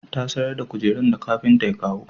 Ta sayar da kujerun da kafinta ya kawo